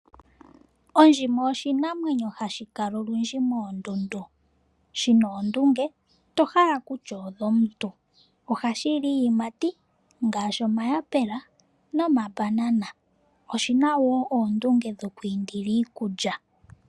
Ondjima oshinamwenyo hashi kala oludji moondundu shi na oondunge to hala kutya odhomuntu nohashi li iiyimati ngaashi omayapula nomambanana oshi na wo oondunge dhokwiindila iikulya.